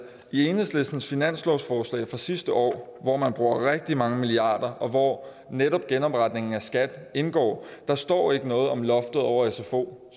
i enhedslistens finanslovsforslag fra sidste år hvor man bruger rigtig mange milliarder og hvor netop genopretningen af skat indgår står ikke noget om loftet over sfo